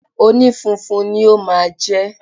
Onífunfun ni ó máa jẹ́